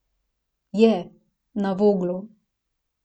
Je, na Voglu.